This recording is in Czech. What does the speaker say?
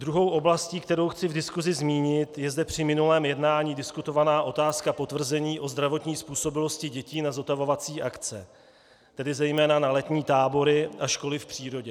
Druhou oblastí, kterou chci v diskusi zmínit, je zde při minulém jednání diskutovaná otázka potvrzení o zdravotní způsobilosti dětí na zotavovací akce, tedy zejména na letní tábory a školy v přírodě.